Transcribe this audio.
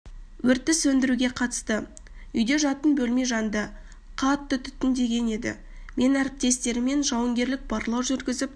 өртті сөндіруге қатысты үйде жатын бөлме жанды қатты түтінденген еді мен әріптестеріммен жауынгерлік барлау жүргізіп